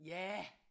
Ja